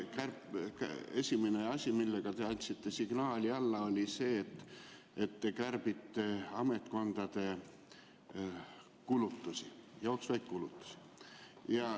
Esimene asi, millega te andsite signaali, oli see, et te kärbite ametkondade kulutusi, jooksvaid kulutusi.